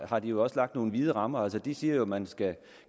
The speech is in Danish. har de jo også lagt nogle vide rammer altså de siger jo at man